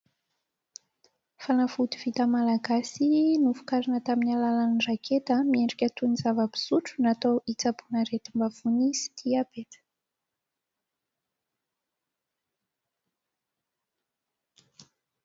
Fanafody vita malagasy novokarina tamin'ny alàlan'ny raketa miendrika toy ny zava-pisotro, natao hitsaboana aretim-bavony sy diabeta.